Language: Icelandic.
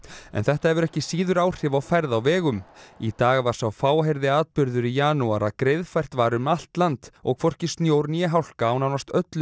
en þetta hefur ekki síður áhrif á færð á vegum í dag var sá fáheyrði atburður í janúar að greiðfært var um allt land og hvorki snjór né hálka á nánast öllum